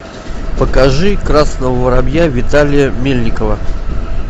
покажи красного воробья виталия мельникова